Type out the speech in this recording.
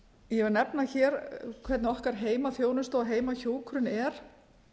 ég vil nefna hér hvernig okkar heimaþjónusta og heimahjúkrun er